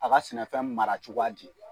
A ka sɛnɛfɛn mara cogoya di ?